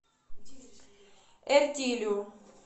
эртилю